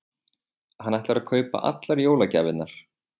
Hann ætlar að kaupa allar jólagjafirnar.